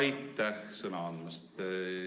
Aitäh sõna andmast!